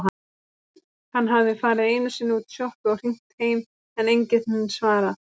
Hann hafði farið einusinni útí sjoppu og hringt heim en enginn svarað.